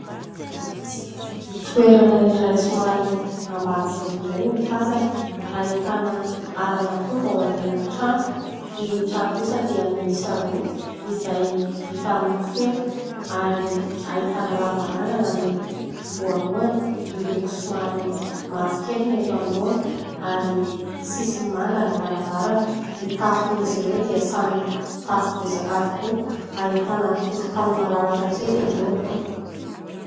Toerana iray somary ambanivolo indray no tazana. Ahitana alan'akondro ao aorianan'ny trano. Ny trano kosa dia miisa roa izay vita amin'ny feta izay ahitana lavarangana ny voalohany. Miloko somary mavokely ny eto anoloana ary sisiny manga ny varavarana. Ny tafon'izy ireo dia samy tafo bozaka avokoa. Ahitana tokotany malalaka kely irony.